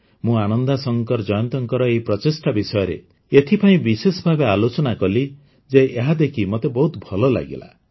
ମୁଁ ଆନନ୍ଦାଶଙ୍କର ଜୟନ୍ତଙ୍କର ଏହି ପ୍ରଚେଷ୍ଟା ବିଷୟରେ ଏଥିପାଇଁ ବିଶେଷଭାବେ ଆଲୋଚନା କଲି ଯେ ଏହାଦେଖି ମତେ ବହୁତ ଭଲ ଲାଗିଲା